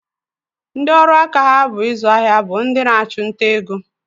Ndị ọrụaka ha bụ ịzụ ahịa bụ ndị na-achụ nta ego